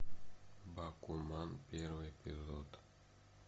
бакуман первый эпизод